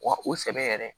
Wa o sɛbɛ yɛrɛ